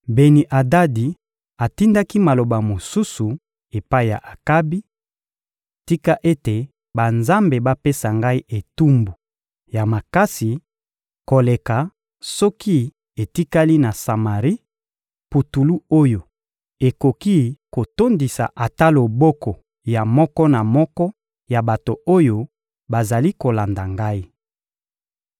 Beni-Adadi atindaki maloba mosusu epai ya Akabi: — Tika ete banzambe bapesa ngai etumbu ya makasi koleka soki etikali na Samari putulu oyo ekoki kotondisa ata loboko ya moko na moko ya bato oyo bazali kolanda ngai.